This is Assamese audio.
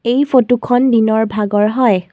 এই ফটো খন দিনৰ ভাগৰ হয়।